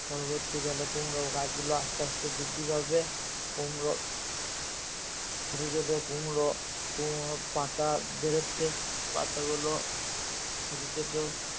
পরবর্তীকালে কুমড়ো গাছ গুলো আস্তে আস্তে বৃদ্ধি পাবে কুমড়ো ছোটো ছোটো কুমড়ো, কুমড়োর পাতা বেরোচ্ছে পাতা গুলো ছোটো ছোটো